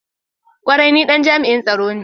Kwarai! ni Dan jami'i tsaro ne.